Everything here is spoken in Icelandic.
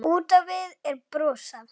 Út á við er brosað.